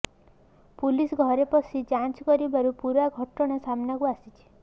police ଘରେ ପଶି ଯାଞ୍ଚ କରିବାରୁ ପୂରା ଘଟଣା ସାମ୍ନାକୁ ଆସିଛି